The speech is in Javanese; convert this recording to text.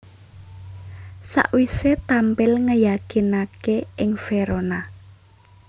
Sakwisé tampil ngeyakinaké ing Verona